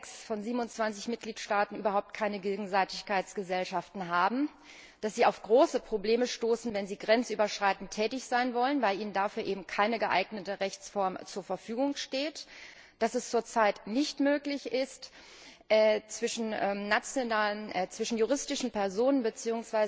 in sechs von 27 Mitgliedstaaten überhaupt keine Gegenseitigkeitsgesellschaften haben und dass diese auf große Probleme stoßen, wenn sie grenzüberschreitend tätig sein wollen, weil ihnen dafür eben keine geeignete Rechtsform zur Verfügung steht, sowie dass es zurzeit nicht möglich ist, zwischen juristischen Personen bzw.